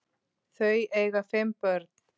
Þau eiga fimm börn.